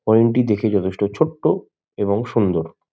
হরিণ টি দেখে যথেষ্ট ছোট্ট এবং সুন্দর।